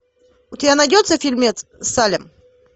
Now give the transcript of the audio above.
у тебя найдется фильмец салем